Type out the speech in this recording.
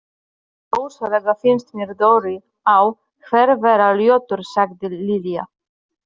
Rosalega finnst mér Dóri á Her vera ljótur sagði Lilla.